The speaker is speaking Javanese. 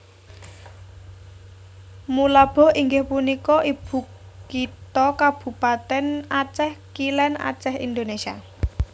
Meulaboh inggih punika ibukitha Kabupatèn Acèh Kilèn Acèh Indonésia